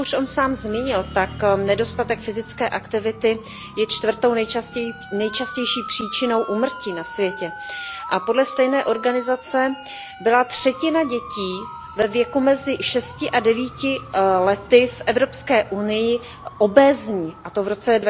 Jak už on sám zmínil, tak nedostatek fyzické aktivity je čtvrtou nejčastější příčinou úmrtí na světě a podle stejné organizace byla třetina dětí ve věku mezi šesti a devíti lety v Evropské unii obézní a to v roce